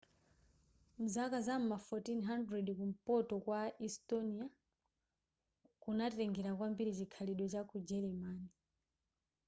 mzaka za ma 1400 kumpoto kwa estonia kunatengela kwambiri chikhalidwe cha ku gelemani